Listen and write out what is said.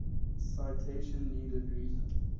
citation needed reason